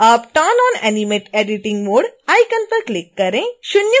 अब turn on animate editing mode icon पर click करें